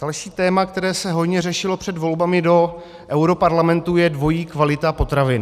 Další téma, které se hojně řešilo před volbami do europarlamentu, je dvojí kvalita potravin.